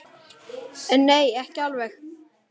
En nei, ekki alveg.